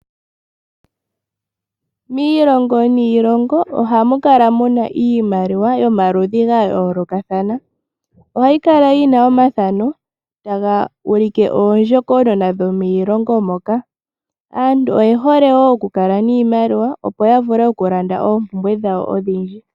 Miilongo niiloongo oha mu kala mu na iimaliwa yomaludhi ga yoolokathana ohayi kala yina omathano taga ulike oondjokonona dhomiilongo moka. Aantu oye hole wo okukala niimaliwa opo ya vule okulanda oompumbwe odhindji.